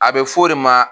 A bɛ f'o de ma